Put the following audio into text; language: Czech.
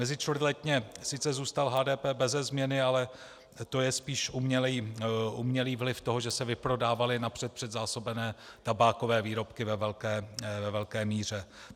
Mezičtvrtletně sice zůstal HDP beze změny, ale to je spíš umělý vliv toho, že se vyprodávaly napřed předzásobené tabákové výrobky ve velké míře.